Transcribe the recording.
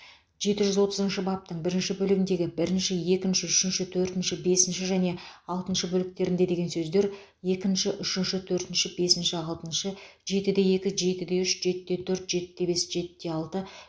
жеті жүз отызыншы баптың бірінші бөлігіндегі бірінші екінші үшінші төртінші бесінші және алтыншы бөліктерінде деген сөздер екінші үшінші төртінші бесінші алтыншы жетіде екі жетіде үш жетіде төрт жетіде бес жетіде алты